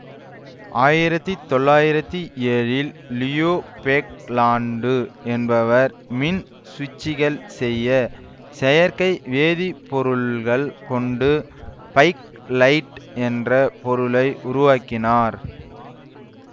ஆயிரத்தி தொள்ளாயிரத்தி ஏழில் லியோ பேக்லாண்டு என்பவர் மின் சுவிச்சுகள் செய்ய செயற்கை வேதி பொருள்கள் கொண்டு பேக்லைட் என்ற பொருளை உருவாக்கினார்